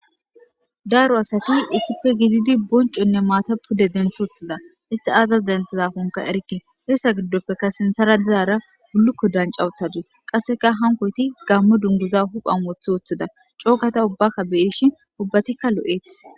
daaro asati issife gididi bonconne maata pude denf woththida isti aazas denthizakonka erke heessa giddoppeka sinthara dizaara gullukko dancawutadu qasseka hankoyti gammo dunguza huphan wothi woththida cookata ubbaka beyishin ubbatikka lo7eeth